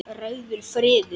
Rauður friður.